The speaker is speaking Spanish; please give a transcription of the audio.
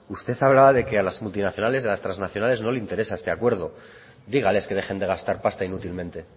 usted hablaba de que a las multinacionales y a las transnacionales no les interesa este acuerdo dígales que dejen de gastar pasta inútilmente